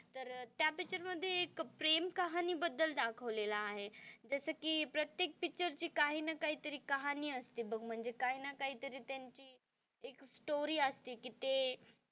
तर त्या पिक्चर मध्ये एक प्रेम कहाणी बद्दल दाखवलेलं आहे जस कि प्रत्येक पिक्चर ची काही ना काही तरी कहाणी असते बघ म्हणजे काही ना काही त्यांनी एक स्टोरी असती कि ते,